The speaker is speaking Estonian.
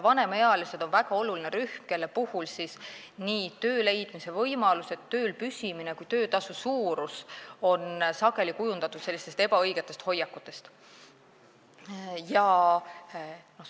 Vanemaealised on väga oluline rühm, kelle töö leidmise ja tööl püsimise võimalused ning ka töötasu suurus on sageli kujundatud ebaõigete hoiakute põhjal.